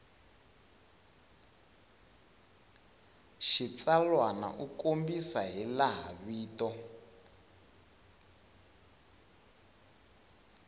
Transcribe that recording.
xitsalwana u kombisa hilaha vito